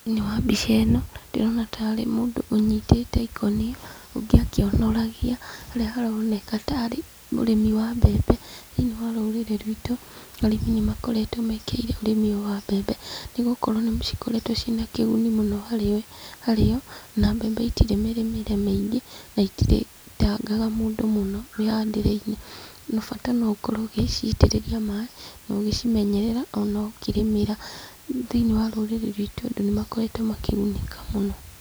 Thĩiniĩ wa mbica ĩno, ndĩrona tarĩ mũndũ ũnyitĩte ikũnia, ũngĩ akionoragia, harĩa haroneka tarĩ ũrĩmi wa mbembe. Thĩiniĩ wa rũrĩrĩ rwitũ, arĩmi nĩ makoretwo mekĩrĩĩre ũrĩmi ũyũ wa mbembe, nĩ gũkorwo nĩ igĩkoretwo ciĩna kĩguni mũno harĩ o, na mbembe itirĩ mĩrĩmĩre mĩingĩ, na itirĩ tangaga mũndũ mũno mĩhandĩre-inĩ. Bata no ũkorwo ũgĩciitĩrĩria maaĩ, na ũgĩcimenyerera, ona ũkĩrĩmĩra. Thĩiniĩ wa rũrĩrĩ rwitũ andũ nĩ makoretwo makĩgunĩka mũno.